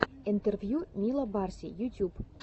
интервью мила барси ютюб